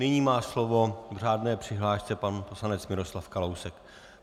Nyní má slovo v řádné přihlášce pan poslanec Miroslav Kalousek.